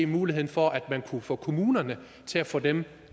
muligheden for at man kunne få kommunerne til at få dem